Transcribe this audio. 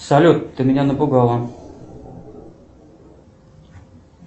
салют ты меня напугала